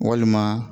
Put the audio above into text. Walima